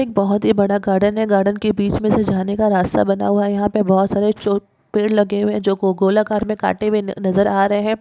एक बहुत ही बड़ा गार्डन है गार्डन के बीच में से जाने का रास्ता बना हुआ है याहा बहुत सारे पेड़ लगे हुए हैजो गोलाकार मे कांटे हुए नज़र आ रहे है।